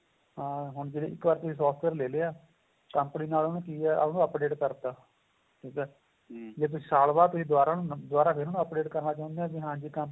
ਹਾਂ ਹੁਣ ਜਿਵੇਂ ਤੁਸੀਂ ਇੱਕ software ਲੈ ਲਿਆਂ company ਨੇ ਉਹਨੂੰ ਕਿ ਏ ਉਹਨੂੰ update ਕਰਤਾ ਠੀਕ ਏ ਜ਼ੇ ਤੁਸੀਂ ਸਾਲ ਬਾਅਦ ਤੁਸੀਂ ਦੁਆਰਾ ਦੁਆਰਾ ਫ਼ੇਰ ਉਹਨੂੰ update ਕਰਨਾ ਚਾਹੁੰਦੇ ਹੋ ਵੀ ਹਾਂਜੀ